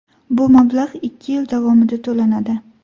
Bu mablag‘ ikki yil davomida to‘lanadi.